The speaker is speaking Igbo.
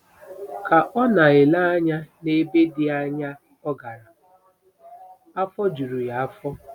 Ka ọ na-ele anya n’ebe dị anya ọ gara, afọ juru ya afọ.